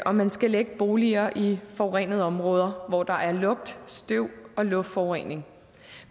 om man skal lægge boliger i forurenede områder hvor der er lugt støv og luftforurening